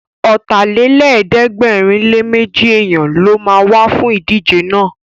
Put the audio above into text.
Ọ̀tàlélẹ̀ẹ́dẹ́gbẹ̀rinléméjì èèyàn ló ma wá fún ìdíje náà